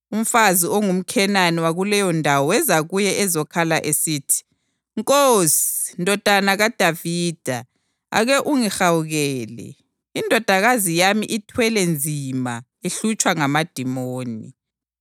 Umfazi ongumKhenani wakuleyondawo weza kuye ezokhala esithi, “Nkosi, Ndodana kaDavida, ake ungihawukele! Indodakazi yami ithwele nzima, ihlutshwa ngamadimoni.”